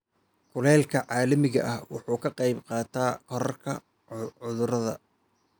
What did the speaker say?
Kulaylka caalamiga ahi wuxuu ka qayb qaataa kororka cudurrada.